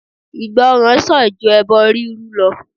Ìgbọràn sàn ju ẹbọ rírú lọ